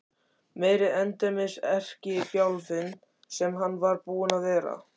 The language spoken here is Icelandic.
Meiri endemis erkibjálfinn sem hann var búinn að vera!